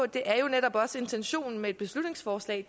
det er jo netop også intentionen med et beslutningsforslag